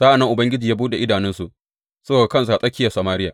Sa’an nan Ubangiji ya buɗe idanunsu suka ga kansu a tsakiyar Samariya.